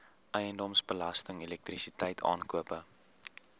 eiendomsbelasting elektrisiteit aankope